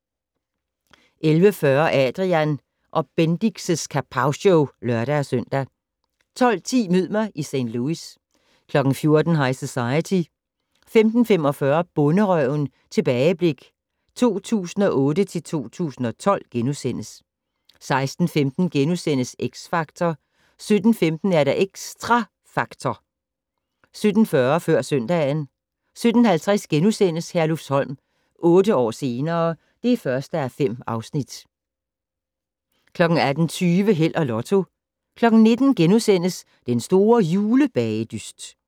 11:40: Adrian & Bendix' Kapowshow (lør-søn) 12:10: Mød mig i St. Louis 14:00: High Society 15:45: Bonderøven - tilbageblik 2008-2012 * 16:15: X Factor * 17:15: Xtra Factor 17:40: Før søndagen 17:50: Herlufsholm - otte år senere ... (1:5)* 18:20: Held og Lotto 19:00: Den store julebagedyst *